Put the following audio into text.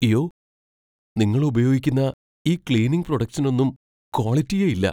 യ്യോ, നിങ്ങൾ ഉപയോഗിക്കുന്ന ഈ ക്ളീനിംഗ് പ്രോഡക്ട്സിനൊന്നും ക്വാളിറ്റിയേ ഇല്ല .